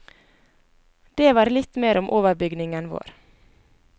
Det var litt mer om overbygningen vår.